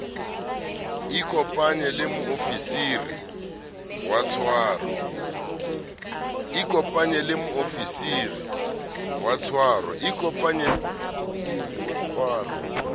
ikopanye le moofisiri wa tshwaro